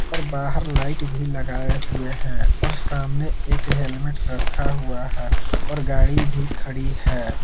और बाहर लाइट भी लगाए हुए हैं और सामने एक हेलमेट रखा हुआ है और गाड़ी भी खड़ी है।